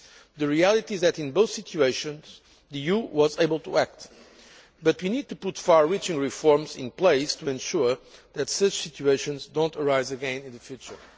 The reality is that in both situations the EU was able to act but we need to put far reaching reforms in place to ensure that such situations do not arise again in the future.